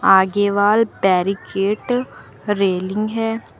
आगे wall barricade railing है।